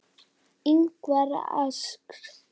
Ingvar asks.